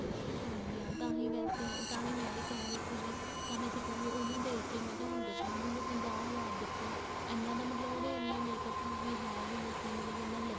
ਹਾਂਜੀ ਹਾਂਜੀ ਤਾਹੀ ਵੈਸੇ ਤਾਂਹੀ ਮੈਂ ਕਹਿ ਰਹੀ ਸੀ ਵੀ ਤਾਂਹੀ ਉਹਨੂੰ ਦੇਖਕੇ ਮੈਂ ਕਿਹਾ ਹੁਣ ਦੇਖਲੋ ਹੁਣ ਉਹਨੇ ਪੰਜਾਹ ਹਜ਼ਾਰ ਦਿੱਤਾ ਇੰਨਾ ਤਾਂ ਮਤਲਬ ਉਹਦੇ ਇੰਨਾ makeup ਵੀ ਹੈ ਵੀ ਨਹੀਂ ਸੀ ਮਤਲਬ ਇੰਨਾ